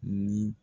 Ni